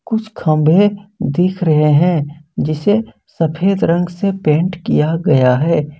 कुछ खंभे दिख रहे हैं जिसे सफेद रंग से पेंट किया गया है।